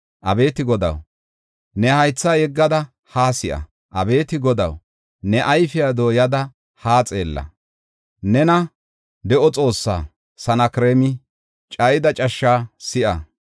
Abeeti Godaw, ne haytha yeggada haa si7a. Abeeti Godaw, ne ayfiya dooyada haa xeella. Nena, de7o Xoossaa, Sanakreemi cayida cashshaa si7a.